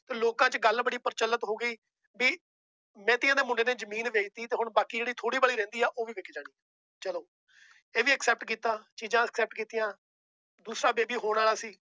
ਲੋਕਾਂ ਚ ਗੱਲ ਬੜੀ ਪ੍ਰਚਲਿਤ ਹੋ ਗਈ ਵੀ ਨੇਤੀਆਂ ਦੇ ਮੁੰਡੇ ਨੇ ਜ਼ਮੀਨ ਵੇਚ ਦਿੱਤੀ ਤੇ ਹੁਣ ਬਾਕੀ ਜਿਹੜੀ ਥੋੜ੍ਹੀ ਬੜੀ ਰਹਿੰਦੀ ਆ ਉਹ ਵੀ ਵਿੱਕ ਜਾਣੀ, ਚਲੋ ਇਹ ਵੀ accept ਕੀਤਾ ਚੀਜ਼ਾਂ accept ਕੀਤੀਆਂ ਦੂਸਰਾ baby ਹੋਣ ਵਾਲਾ ਸੀ।